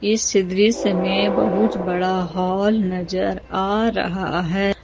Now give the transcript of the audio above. इस दृश्य में बहुत बड़ा हॉल नजर आ रहा है।